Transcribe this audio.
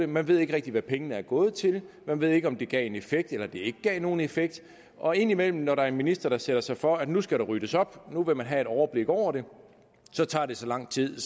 man ved ikke rigtig hvad pengene er gået til man ved ikke om det gav en effekt eller det ikke gav nogen effekt og indimellem når der er en minister der sætter sig for at nu skal der ryddes op at nu vil man have et overblik over det så tager det så lang tid at